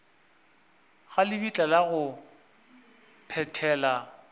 ga lebitla la go phethela